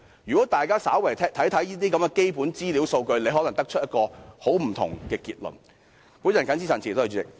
如果大家稍為參看一下基本資料和數據，便可能得出一個截然不同的結論。